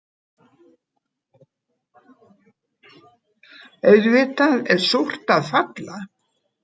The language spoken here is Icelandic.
Auðvitað er súrt að falla